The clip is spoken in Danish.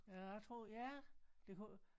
Ja jeg tror ja det kunne